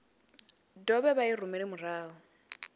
dovhe vha i rumele murahu